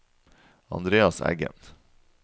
Andreas Eggen